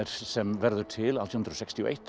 sem verður til átján hundruð sextíu og eitt